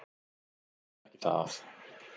Ég þekki það.